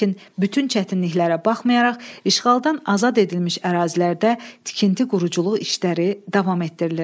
Lakin bütün çətinliklərə baxmayaraq, işğaldan azad edilmiş ərazilərdə tikinti-quruculuq işləri davam etdirilir.